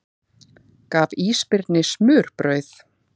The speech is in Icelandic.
Gaf ísbirni smurbrauð